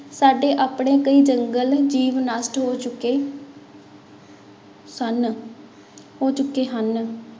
ਸਾਡੇ ਆਪਣੇ ਕਈ ਜੰਗਲ-ਜੀਵ ਨਸ਼ਟ ਹੋ ਚੁੱਕੇ ਹਨ, ਹੋ ਚੁੱਕੇ ਹਨ।